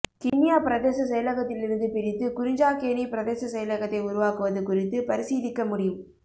கிண்ணியா பிரதேச செயலகத்திலிருந்து பிரித்து குறிஞ்சாக்கேணி பிரதேச செயலகத்தை உருவாக்குவது குறித்து பரிசீலிக்க முடியும்